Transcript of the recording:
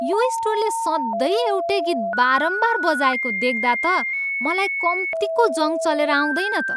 यो स्टोरले सधैँ एउटै गीत बारम्बार बजाएको देख्दा त मलाई कम्तीको जङ् चलेर आउँदैन त।